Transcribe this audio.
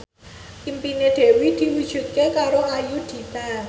impine Dewi diwujudke karo Ayudhita